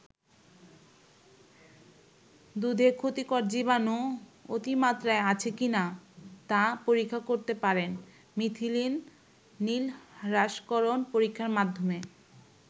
দুধে ক্ষতিকর জীবাণু অতিমাত্রায় আছে কি না তা পরীক্ষা করতে পারেন মিথিলিন নীল হ্রাসকরণ পরীক্ষার মাধ্যমে।